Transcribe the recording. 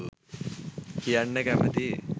කියන්න කැමතියි